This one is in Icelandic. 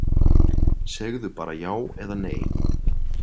Segðu bara já eða nei.